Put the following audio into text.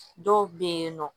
Dɔw bɛ yen nɔ